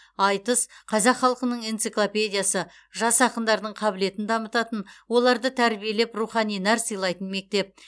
айтыс қазақ халқының энциклопедиясы жас ақындардың қабілетін дамытатын оларды тәрбиелеп рухани нәр сыйлайтын мектеп